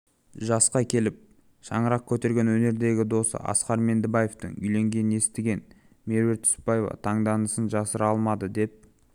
жасқа келіп шаңырақ көтерген өнердегі досы асқар меңдібаевтың үйленгенін естіген меруерт түсіпбаева таңданысын жасыра алмады деп